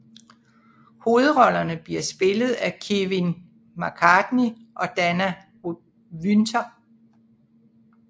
Hovedrollerne bliver spillet af Kevin McCarthy og Dana Wynter